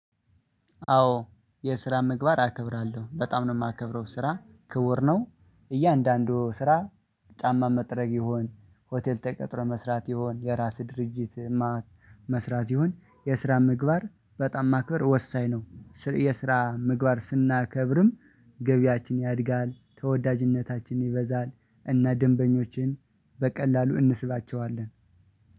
አዎ የስራ ምግባር አከብራለሁ በጣም ነው የማከብረው ስራ ክቡር ነው። እያንዳንዱ ስራ ጫማ መጥረግ ይሁን ሆቴል ተቀጥሮ መስራት ይሁን የራስ ድርጅት። መስራት ይሁን የስራ ምግባር በጣም ማክበር ወሳኝ ነው። የስራ ምግባር ስናከብርም ገቢያችን ያድጋል ተወዳጅነታችን ይበዛል። እና ደንበኞችን በቀላሉ እንስባቸዋለን።